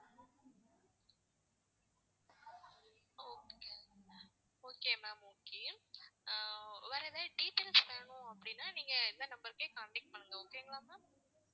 okay ma'am okay வேற எதாவது details வேணும் அப்படின்னா நீங்க இந்த number க்கே contact பண்ணுங்க okay ங்களா ma'am